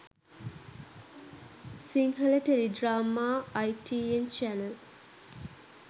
sinhala teledrama itn channel